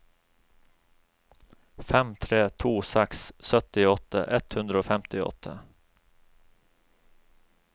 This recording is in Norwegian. fem tre to seks syttiåtte ett hundre og femtiåtte